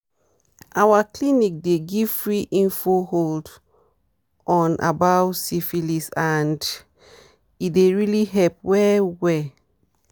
our clinic dey give free info hold on about syphilis and e really dey help well well